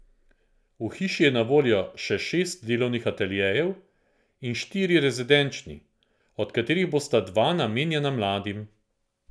V hiši je na voljo še šest delovnih ateljejev in štiri rezidenčni, od katerih bosta dva namenjena mladim.